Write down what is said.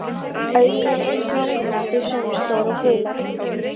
Augun eru eins, nákvæmlega þau sömu, stór augu og blíðleg.